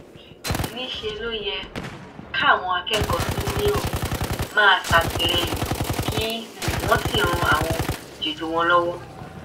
níṣẹ ló yẹ um káwọn akẹkọọ síníọ máa ṣàtìlẹyìn kí um wọn sì ran àwọn jẹjọ wọn lọwọ